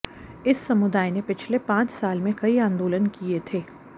इस समुदाय ने पिछले पांच साल में कई आंदोलन किए थे